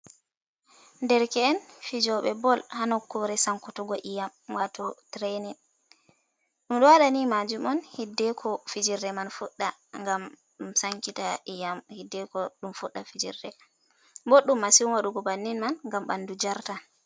Derke’en fijoɓe bol ha nokkure sankutugo iyam, wato tirenin, ɗum ɗo waɗa ni maajuum on hiddeko fijirre man fuɗɗa, gam ɗum sankita iyam hideko ɗum fuɗɗa fijirde, boddum masin waɗugo bannin man gam ɓandu jarta.